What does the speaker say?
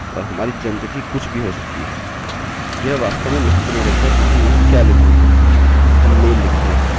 यह वास्तव में महत्व नहीं रखता कि हम यहाँ क्या लिख रहे हैं हम male लिखते हैं